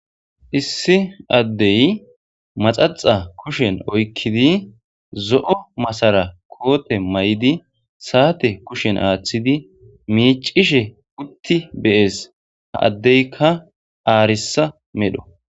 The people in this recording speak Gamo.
Issi addey maxaxa kushen oykkidi zo7o masara koote may7idi saate kushen aaththidi miicishe utti beyees ha addeykka aarissa medho.